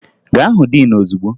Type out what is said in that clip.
Ga hụ diin ozugbo!